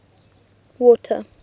water